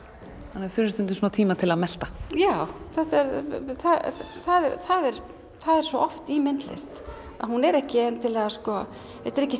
þannig að þú hefur stundum smá tíma til að melta já þetta er það er það er svo oft í myndlist að hún er ekki endilega þetta er ekki